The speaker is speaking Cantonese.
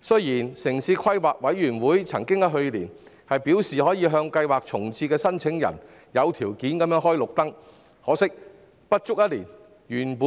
雖然城市規劃委員會曾於去年表示，可向計劃重置的申請人有條件開綠燈，可惜不足一年後，原